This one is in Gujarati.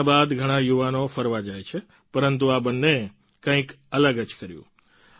લગ્ન બાદ ઘણાં યુવાનો ફરવા જાય છે પરંતુ આ બંનેએ કંઈક અલગ જ કર્યું